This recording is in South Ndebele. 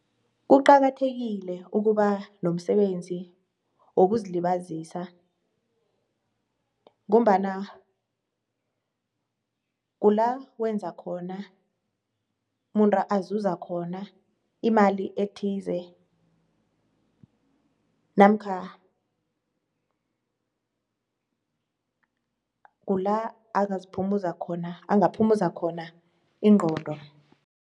Kuqakathekile ukuba nomsebenzi wokuzilibazisa ngombana kulawenza khon,a umuntu uzuza khona imali ethize namkha kula angaziphumuza khona, angaphuzu khona ingqondo.